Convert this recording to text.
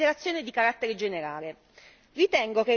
vorrei fare una considerazione di carattere generale.